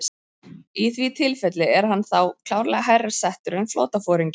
Í því tilfelli er hann þá klárlega hærra settur en flotaforingi.